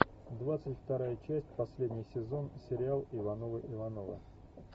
двадцать вторая часть последний сезон сериал ивановы ивановы